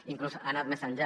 i inclús ha anat més enllà